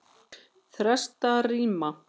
Þrastarima